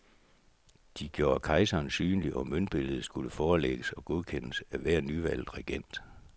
De gjorde kejseren synlig og møntbilledet skulle forelægges og godkendes af hver nyvalgt regent.